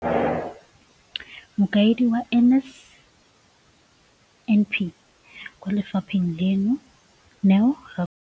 Mokaedi wa NSNP kwa lefapheng leno, Neo Rakwena,